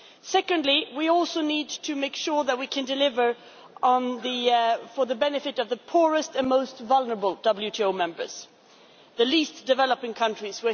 Secondly, we also need to make sure that we can deliver for the benefit of the poorest and most vulnerable WTO members the least developed countries.